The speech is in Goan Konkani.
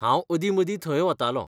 हांव अदीं मदीं थंय वतालों.